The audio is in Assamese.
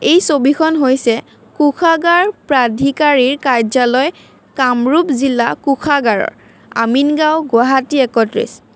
এই ছবিখন হৈছে কোষাগাৰ প্ৰাধিকাৰীৰ কাৰ্য্যালয় কামৰূপ জিলা কোষাগাৰৰ আমিনগাঁও গুৱাহাটী একত্ৰিছ।